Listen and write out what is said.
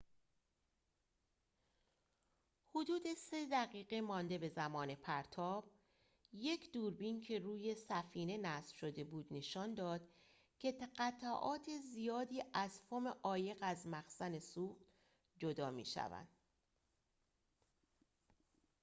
حدود ۳ دقیقه مانده به زمان پرتاب یک دوربین که روی سفینه نصب شده بود نشان داد که قطعات زیادی از فوم عایق از مخزن سوخت جدا می‌شوند